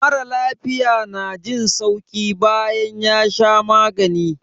Mara lafiya na jin sauki bayan ya sha magani.